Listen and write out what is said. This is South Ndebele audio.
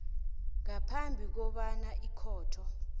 ngaphambi kobana ikhotho